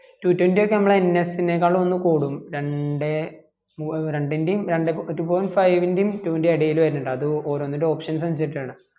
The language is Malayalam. two twenty ക്ക് ഒക്കെ നമ്മളെ ns ക്കാളും ഒന്ന് കൂടും രണ്ടേ രണ്ടെൻ്റെയും രണ്ടേ two ponit five ൻ്റെയു two ൻ്റെയും ഇടയിൽ വെരുനിണ്ട അത് ഓരോനിൻ്റെ option സ് അനുസരിച്ചിട്ടാണ്